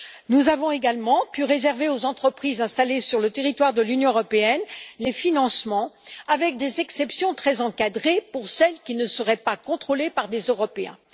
Nous avons également pu réserver aux entreprises installées sur le territoire de l'Union européenne les financements avec des exceptions très encadrées pour celles qui ne seraient pas contrôlées par des Européens.